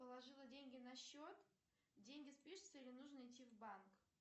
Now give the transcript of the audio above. положила деньги на счет деньги спишутся или нужно идти в банк